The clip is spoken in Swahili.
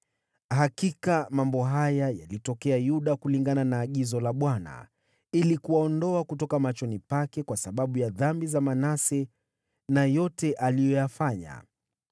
Hakika mambo haya yalitokea Yuda kulingana na agizo la Bwana , ili kuwaondoa kutoka machoni pake kwa sababu ya dhambi za Manase na yote aliyoyafanya,